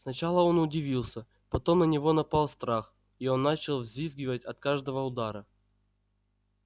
сначала он удипился потом на него напал страх и он начал взвизгивать от каждого удара